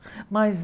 Mas